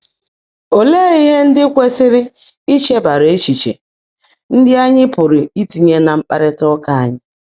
Óleé íhe ndị́ kwèsị́rị́ nchegbàárá é́chíché ndị́ ányị́ pụ́rụ́ ítinyé ná mkpárrị́tá úkà ányị́?